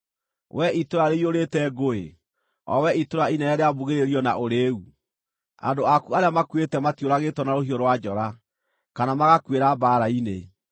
wee itũũra rĩiyũrĩte ngũĩ, o wee itũũra inene rĩa mbugĩrĩrio na ũrĩĩu? Andũ aku arĩa makuĩte matiũragĩtwo na rũhiũ rwa njora, kana magakuĩra mbaara-inĩ.